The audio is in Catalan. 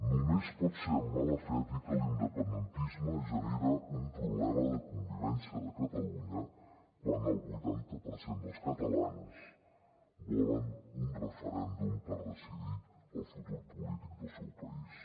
només pot ser amb mala fe dir que l’indepen·dentisme genera un problema de convivència de catalunya quan el vuitanta per cent dels catalans volen un referèndum per decidir el futur polític del seu país